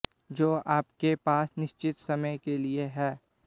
जो आपके पास निश्चित समय के लिए हैं